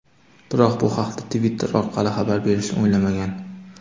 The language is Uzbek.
Biroq bu haqda Twitter orqali xabar berishni o‘ylamagan.